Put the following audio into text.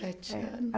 Sete anos. É